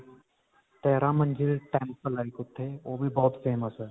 ਤੇਰਾਂ ਮੰਜਿਲ temple ਹੈ ਉੱਥੇ ਓਹ ਵੀ ਬਹੁਤ famous ਹੈ.